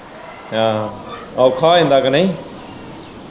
ਆਹੋ ਔਖਾ ਹੋ ਜਾਂਦਾ ਕੇ ਨਹੀਂ।